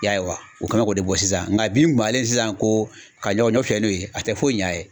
I y'a ye wa u kɛ bɛ k'o de bɔ sisan nga bin balen sisan ko ka ɲɔ ɲɔ fiyɛ n'o ye a tɛ foyi ɲa a ye